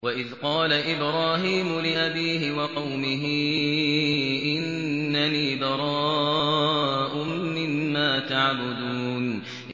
وَإِذْ قَالَ إِبْرَاهِيمُ لِأَبِيهِ وَقَوْمِهِ إِنَّنِي بَرَاءٌ مِّمَّا تَعْبُدُونَ